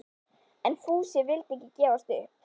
En Fúsi vildi ekki gefast upp.